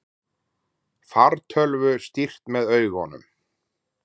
Fartölvu stýrt með augunum